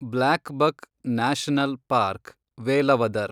blackbuck national park, Velavadar